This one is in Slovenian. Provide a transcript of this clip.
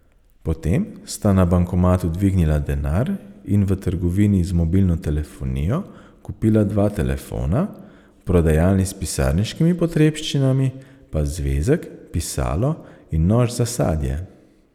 Potem sta na bankomatu dvignila denar in v trgovini z mobilno telefonijo kupila dva telefona, v prodajalni s pisarniškimi potrebščinami pa zvezek, pisalo in nož za sadje.